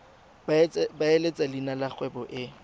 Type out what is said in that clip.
beeletsa leina la kgwebo e